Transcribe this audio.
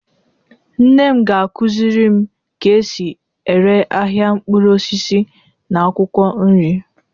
nne m ga-akuzirim ka esi ere ahia nkpuru osisi na akwukwo nri